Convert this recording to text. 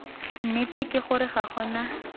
nnete ke gore ga gona